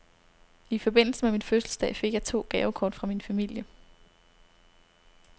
I forbindelse med min fødselsdag fik jeg to gavekort fra min familie.